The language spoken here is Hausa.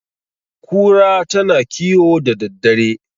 kura tana kiwo da daddare